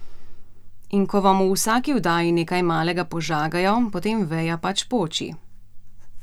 In ko vam v vsaki oddaji nekaj malega požagajo, potem veja pač poči.